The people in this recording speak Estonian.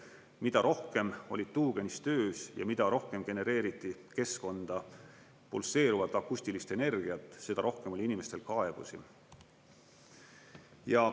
Mida rohkem oli tuugenist töös ja mida rohkem genereeriti keskkonda pulseeruvat akustilist energiat, seda rohkem oli inimestel kaebusi.